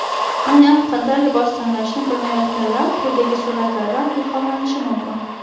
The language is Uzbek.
Aynan qanday libos tanlashni bilmayotganlar quyidagi suratlardan ilhomlanishi mumkin.